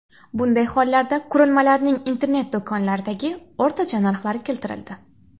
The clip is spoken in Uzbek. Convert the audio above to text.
Bunday hollarda qurilmalarning internet-do‘konlardagi o‘rtacha narxlari keltirildi.